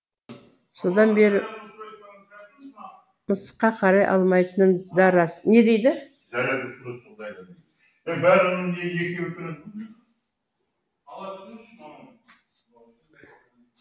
содан бері мысыққа қарай алмайтыным да рас